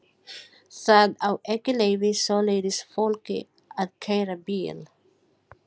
Það á ekki að leyfa svoleiðis fólki að keyra bíl!